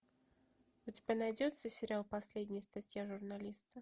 у тебя найдется сериал последняя статья журналиста